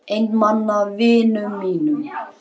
Einmana vinum mínum.